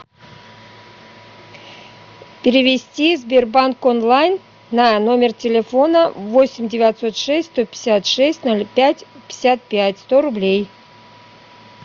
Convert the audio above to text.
перевести сбербанк онлайн на номер телефона восемь девятьсот шесть сто пятьдесят шесть ноль пять пятьдесят пять сто рублей